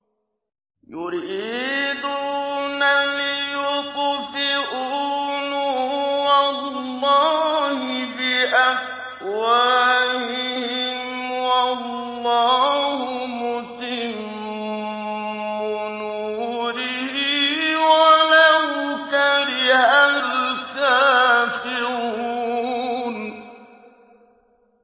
يُرِيدُونَ لِيُطْفِئُوا نُورَ اللَّهِ بِأَفْوَاهِهِمْ وَاللَّهُ مُتِمُّ نُورِهِ وَلَوْ كَرِهَ الْكَافِرُونَ